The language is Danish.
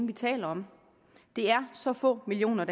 vi taler om det er så få millioner